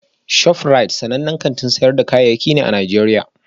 ShofRite sanannen kantin sayar da kayayyaki ne a Najeriya